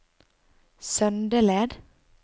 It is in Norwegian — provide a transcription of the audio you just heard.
Søndeled